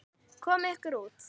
Komiði ykkur út!